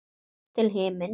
Upp til himins.